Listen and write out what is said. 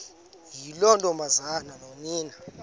yiloo ntombazana nonina